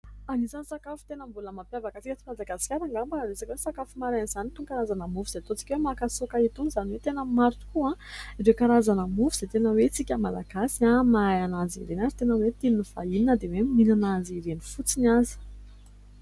Anisany sakafo tena mbola mampiavaka antsika aty Madagasikara angamba ny resaka hoe sakafo maraina izany. Itony karazana mofo izay ataontsika hoe makasaoka itony, izany hoe tena maro tokoa ireo karazana mofo izay tena hoe isika Malagasy mahay azy ireny. Ary tena hoe tian' ny vahiny na dia hoe ny mihinana azy ireny fotsiny aza.